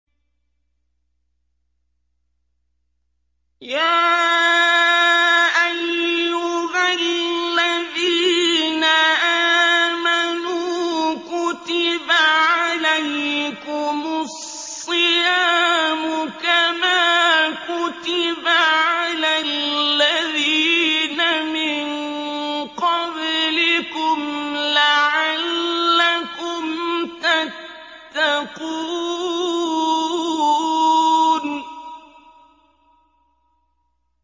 يَا أَيُّهَا الَّذِينَ آمَنُوا كُتِبَ عَلَيْكُمُ الصِّيَامُ كَمَا كُتِبَ عَلَى الَّذِينَ مِن قَبْلِكُمْ لَعَلَّكُمْ تَتَّقُونَ